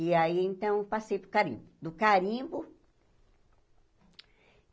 E aí, então, passei para o Carimbo. do carimbo